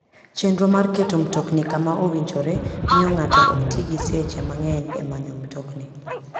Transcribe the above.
Chenro mar keto mtokni kama owinjore miyo ng'ato ok ti gi seche mang'eny e manyo mtokni.